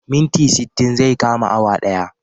Minti sittin zai kama awa daya